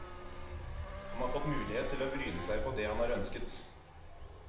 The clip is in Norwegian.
Han har fått mulighet til å bryne seg på det han har ønsket.